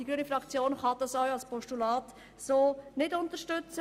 Die grüne Fraktion kann das auch als Postulat nicht unterstützen.